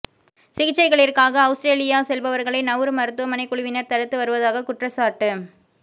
சிகிச்சைகளிற்காக Australia செல்பவர்களை Nauru மருத்துவமனை குழுவினர் தடுத்து வருவதாக குற்றச்சாட்டு